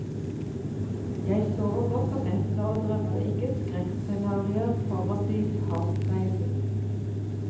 Jeg sover godt om nettene og drømmer ikke skrekkscenarier foran dyphavsreisen.